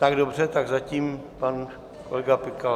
Tak dobře, tak zatím pan kolega Pikal.